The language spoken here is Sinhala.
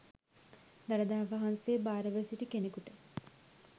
දළදා වහන්සේ භාරව සිටි කෙනෙකුට